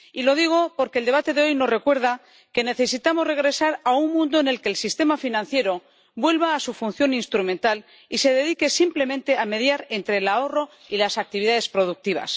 Lo digo porque el debate de hoy nos recuerda que necesitamos regresar a un mundo en el que el sistema financiero vuelva a su función instrumental y se dedique simplemente a mediar entre el ahorro y las actividades productivas.